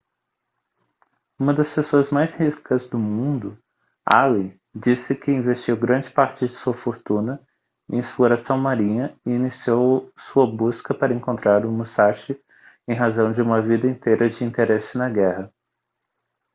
uma das pessoas mais ricas do mundo allen diz-se que investiu grande parte de sua fortuna em exploração marinha e iniciou sua busca para encontrar o musashi em razão de uma vida inteira de interesse na guerra